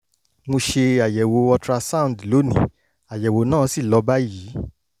mo ṣe àyẹ̀wò ultrasound lónìí àyẹ̀wò náà sì lọ báyìí